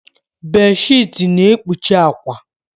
Bedsheeti na-ekpuchi akwa.